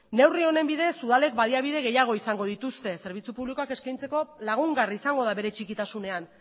neurri honen bidez udalek baliabide gehiago izango dituzte zerbitzu publikoak eskaintzeko lagungarri izango da bere txikitasunean